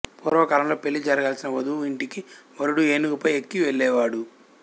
పూర్వ కాలంలోపెళ్లి జరగాల్సిన వధువు ఇంటికి వరుడు ఏనుగుపై ఎక్కి వెళ్ళేవాడు